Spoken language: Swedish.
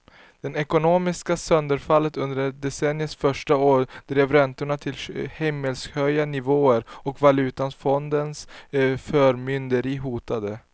Det ekonomiska sönderfallet under decenniets första år drev räntorna till himmelshöga nivåer och valutafondens förmynderi hotade.